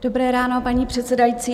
Dobré ráno, paní předsedající.